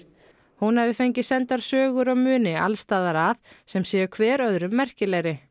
hún hafi fengið sendar sögur og muni alls staðar að sem séu hver öðrum merkilegri